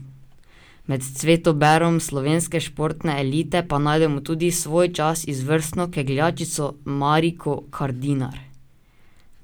Med cvetoberom slovenske športne elite pa najdemo tudi svojčas izvrstno kegljačico Mariko Kardinar.